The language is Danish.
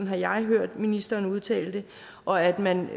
har jeg hørt ministeren udtale og at man